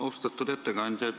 Austatud ettekandja!